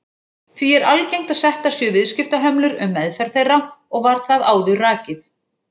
Því er algengt að settar séu viðskiptahömlur um meðferð þeirra og var það áður rakið.